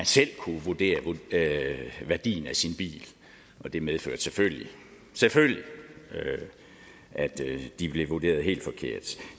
selv kunne vurdere værdien af sin bil det medførte selvfølgelig selvfølgelig at de blev vurderet helt forkert